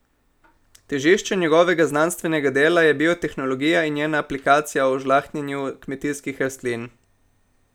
Težišče njegovega znanstvenega dela je biotehnologija in njena aplikacija v žlahtnjenju kmetijskih rastlin.